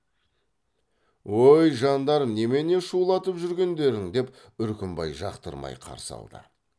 өй жандарым немене шулатып жүргендерің деп үркімбай жақтырмай қарсы алды